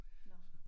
Nåh